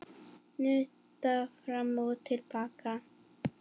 Nudda fram og til baka.